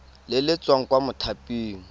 le le tswang kwa mothaping